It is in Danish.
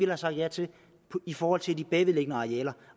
have sagt ja til i forhold til de bagvedliggende arealer